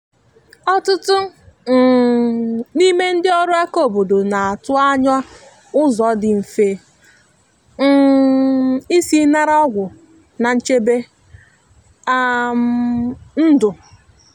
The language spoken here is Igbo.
ọtụtụ um n’ime ndị ọrụ aka obodo na atụ anya ụzọ dị mfe um isi nara ọgwụ na nchebe um ndu.